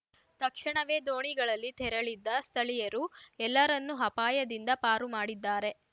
ತಕ್ಷಣವೇ ದೋಣಿಗಳಲ್ಲಿ ತೆರಳಿದ್ದ ಸ್ಥಳೀಯರು ಎಲ್ಲರನ್ನೂ ಅಪಾಯದಿಂದ ಪಾರು ಮಾಡಿದ್ದಾರೆ